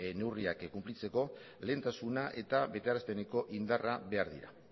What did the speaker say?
neurriak konplitzeko lehentasuna eta betearazpeneko indarra behar dira